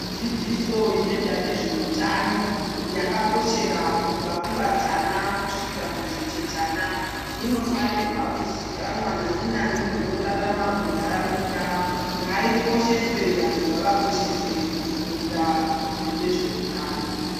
Dzidziso inoita nezvehutano yakakoshera kubva kumatana kusvika kuzvichechana inofana kuzikanwa nani nani ngaikosheswe vanhu ngavakosheswe kufunda nezvehutano.